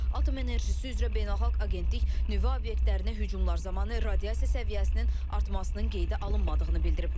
Atom Enerjisi üzrə Beynəlxalq Agentlik nüvə obyektlərinə hücumlar zamanı radiasiya səviyyəsinin artmasının qeydə alınmadığını bildirib.